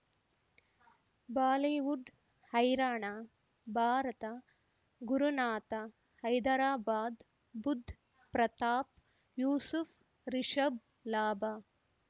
Bollywood ಹೈರಾಣ ಭಾರತ ಗುರುನಾಥ ಹೈದರಾಬಾದ್ ಬುಧ್ ಪ್ರತಾಪ್ ಯೂಸುಫ್ ರಿಷಬ್ ಲಾಭ